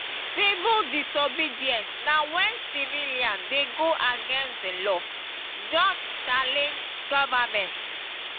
civil disobedience na when civilian de go against the law just challenge government